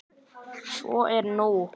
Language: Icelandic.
Svo er ekki nú.